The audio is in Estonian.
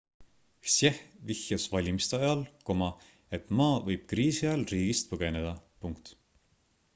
hsieh vihjas valimiste ajal et ma võib kriisi ajal riigist põgeneda